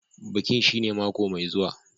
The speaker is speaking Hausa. Bikin shine mako mai zuwa.